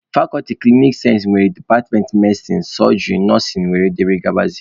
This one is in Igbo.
Fakọlti klinikal sayensị nwere departmentị medisin, sojịrị, nọsịn wdg.